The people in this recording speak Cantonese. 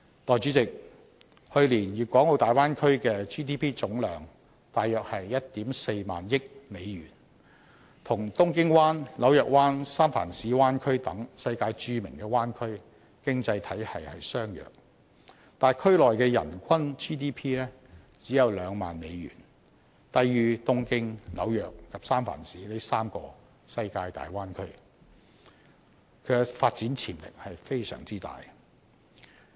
代理主席，去年大灣區的 GDP 總量約 14,000 億美元，與東京灣、紐約灣、三藩市灣區等世界著名的灣區經濟體系相若，但區內的人均 GDP 只有2萬美元，低於東京、紐約及三藩市這3個世界大灣區，其發展潛力非常大。